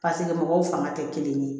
mɔgɔw fanga tɛ kelen ye